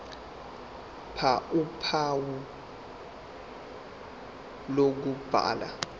ph uphawu lokubhala